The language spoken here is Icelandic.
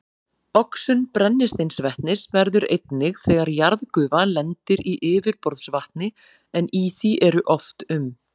Oxun brennisteinsvetnis verður einnig þegar jarðgufa lendir í yfirborðsvatni, en í því eru oft um